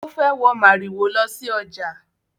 Ó fẹ́ wọ màrìwò lọ sí ọjà